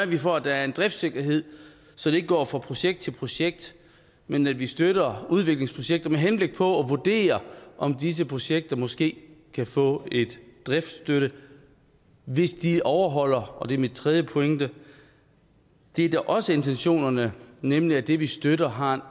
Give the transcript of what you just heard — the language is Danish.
vi for at der er en driftssikkerhed så vi ikke går fra projekt til projekt men at vi støtter udviklingsprojekter med henblik på at vurdere om disse projekter måske kan få en driftsstøtte hvis de overholder og det er min tredje pointe det der også er intentionerne nemlig at det vi støtter har